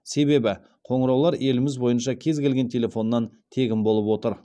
себебі қоңыраулар еліміз бойынша кез келген телефоннан тегін болып отыр